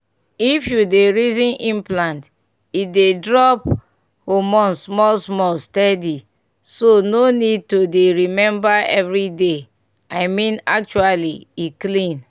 if you dey reason implant e dey drop hormone small-small steady so no need to dey remember every day. i mean actually e clean.